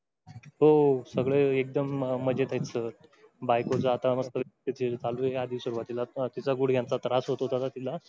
हो सगळे एकदम मजेत आहेत sir बायको जाता वरती तिची तिचा गुढघ्यांचा त्रास होत होता तिला.